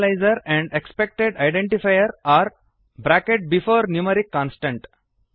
invalid initializer and expected identifier or bracket before numeric constant